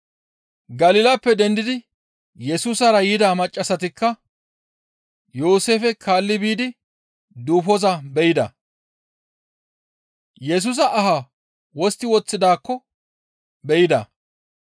Galilappe dendidi Yesusara yida maccassatikka Yooseefe kaalli biidi duufoza be7ida. Yesusa ahaa wostti woththidaakko be7ida.